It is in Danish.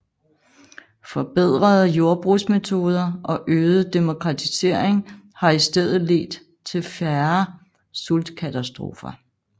Forbedrede jordbrugsmetoder og øget demokratisering har i stedet ledt til færre sultkatastrofer